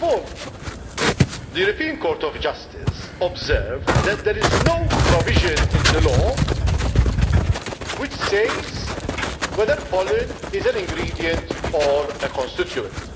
First of all, the Court of Justice observed that there is no provision in the law which says whether pollen is an ingredient or a constituent.